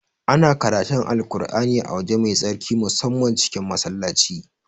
Ana karatun Alƙur'ani a waje mai tsarki musamman cikin Masallaci